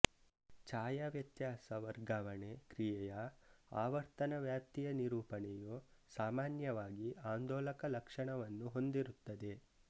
ಛಾಯಾವ್ಯತ್ಯಾಸ ವರ್ಗಾವಣೆ ಕ್ರಿಯೆಯ ಆವರ್ತನ ವ್ಯಾಪ್ತಿಯ ನಿರೂಪಣೆಯು ಸಾಮಾನ್ಯವಾಗಿ ಆಂದೋಲಕ ಲಕ್ಷಣವನ್ನು ಹೊಂದಿರುತ್ತದೆ